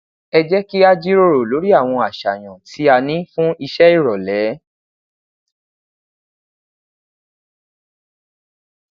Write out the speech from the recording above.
ẹ jẹ ki a jiroro lori awọn aṣayan ti a ni fun iṣe irọlẹ